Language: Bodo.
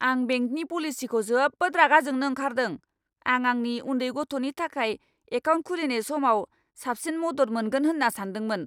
आं बेंकनि पलिसिखौ जोबोद रागा जोंनो ओंखारदों। आं आंनि उन्दै गथ'नि थाखाय एकाउन्ट खुलिनाय समाव साबसिन मदद मोनगोन होन्ना सानदोंमोन।